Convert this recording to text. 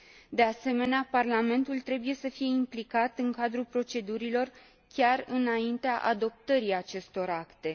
De asemenea, Parlamentul trebuie să fie implicat în cadrul procedurilor chiar înaintea adoptării acestor acte.